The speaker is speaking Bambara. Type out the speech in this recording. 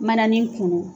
Manaani kunu